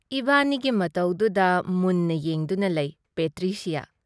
ꯏꯕꯥꯅꯤꯒꯤ ꯃꯇꯧꯗꯨꯗ ꯃꯨꯟꯅ ꯌꯦꯡꯗꯨꯅ ꯂꯩ ꯄꯦꯇ꯭ꯔꯤꯁꯤꯌꯥ꯫